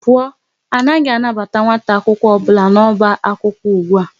Pụọ, anaghị anabata nwata akwụkwọ ọbụla n'ọba akwụkwọ ụgbụa!